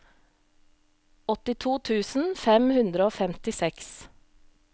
åttito tusen fem hundre og femtiseks